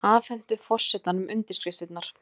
Afhentu forsetanum undirskriftir